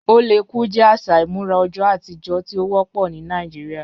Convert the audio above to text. Oléku jẹ aṣa imurà ọjọ̀ atijọ̀ tí o wọpọ ni Nàìjíríà